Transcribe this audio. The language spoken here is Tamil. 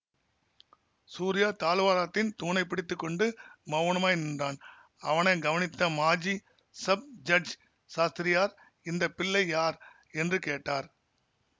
சூரியா தாழ்வாரத்தின் தூணைப் பிடித்து கொண்டு மௌனமாய் நின்றான் அவனை கவனித்த மாஜி ஸப் ஜட்ஜ் சாஸ்திரியார் இந்த பிள்ளை யார் என்று கேட்டார்